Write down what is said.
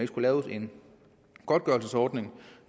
skulle laves en godtgørelsesordning